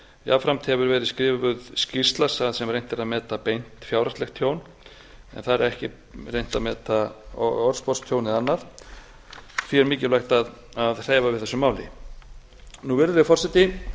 jafnframt hefur verið skrifuð skýrsla þar sem reynt er að meta beint fjárhagslegt tjón en þar er ekki reynt að meta orðsporstjón eða annað því er mikilvægt að hreyfa við þessu máli virðulegi forseti